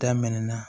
Daminɛna